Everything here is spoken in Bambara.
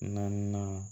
Naaninan